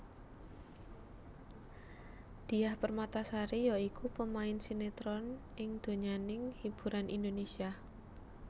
Diah Permatasari ya iku pemain sinetron ing donyaning hiburan Indonesia